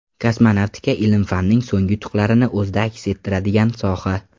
Kosmonavtika ilm-fanning so‘nggi yutuqlarini o‘zida aks ettiradigan soha.